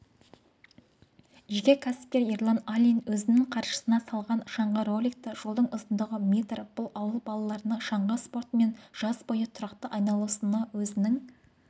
жеке кәсіпкер ерлан алин өзінің қаржысына салған шаңғы-роликті жолдың ұзындығы метр бұл ауыл балаларының шаңғы спортымен жаз бойы тұрақты айналысуына өзінің